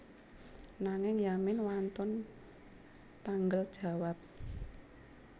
Nanging Yamin wantun tanggel jawab